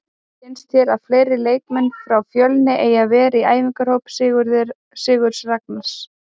Finnst þér að fleiri leikmenn frá Fjölni eigi að vera í æfingahópi Sigurðs Ragnars?